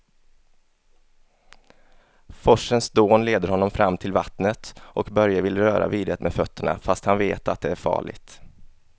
Forsens dån leder honom fram till vattnet och Börje vill röra vid det med fötterna, fast han vet att det är farligt.